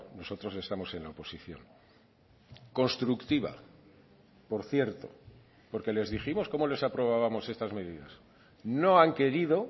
nosotros estamos en la oposición constructiva por cierto porque les dijimos como les aprobábamos estas medidas no han querido